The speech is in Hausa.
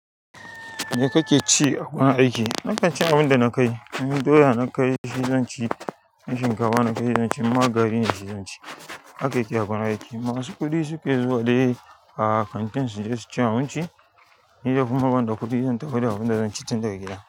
Me kake ci a gurin aiki na kanci abin da na kai, in doya na kai shi zanci, shinkafa na kai shi zanci, in ma gari na shi zanci. Hake yake a wurin aiki. Masu kuɗi su ke zuwa dai a kantin su, dai su ci abinci. Ni da kuma ban da kuɗi zan tafi da abin da zan ci tun daga gida.